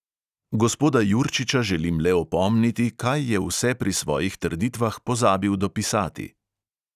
Gospoda jurčiča želim le opomniti, kaj je vse pri svojih trditvah pozabil dopisati.